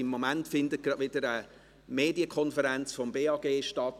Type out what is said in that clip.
Im Moment findet gerade wieder eine Medien konferenz des BAG statt.